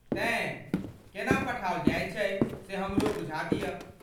तेँ, केना पठाओल जायत छै से हमरो बूझा दिअऽ।